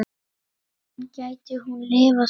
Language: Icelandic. En gæti hún lifað svona?